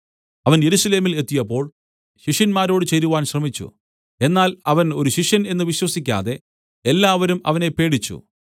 അവൻ യെരൂശലേമിൽ എത്തിയപ്പോൾ ശിഷ്യന്മാരോട് ചേരുവാൻ ശ്രമിച്ചു എന്നാൽ അവൻ ഒരു ശിഷ്യൻ എന്നു വിശ്വസിക്കാതെ എല്ലാവരും അവനെ പേടിച്ചു